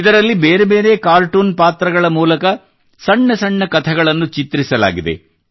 ಇದರಲ್ಲಿ ಬೇರೆ ಬೇರೆ ಕಾರ್ಟೂನ್ ಪಾತ್ರಗಳ ಮೂಲಕ ಸಣ್ಣ ಸಣ್ಣ ಕಥೆಗಳನ್ನು ಚಿತ್ರಿಸಲಾಗಿದೆ